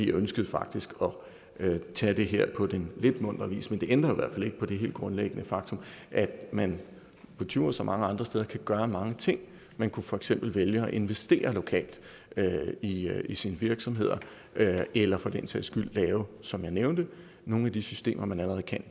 ønskede faktisk at tage det her på den lidt muntre vis men det ændrer i hvert fald ikke på det helt grundlæggende faktum at man på djursland og mange andre steder kan gøre mange ting man kunne for eksempel vælge at investere lokalt i sine virksomheder eller for den sags skyld lave som jeg nævnte nogle af de systemer man allerede kan